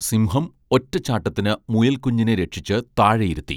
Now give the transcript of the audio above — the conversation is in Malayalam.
സിംഹം ഒറ്റച്ചാട്ടത്തിന് മുയൽക്കുഞ്ഞിനെ രക്ഷിച്ച് താഴെയിരുത്തി